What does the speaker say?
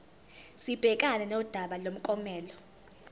sibhekane nodaba lomklomelo